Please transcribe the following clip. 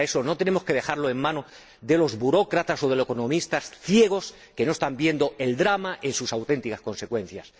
Y para eso, no tenemos que dejarlo en manos de los burócratas o de los economistas ciegos, que no están viendo el drama con sus auténticas consecuencias.